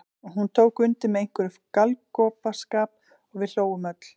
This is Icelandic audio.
Og hún tók undir með einhverjum galgopaskap og við hlógum öll.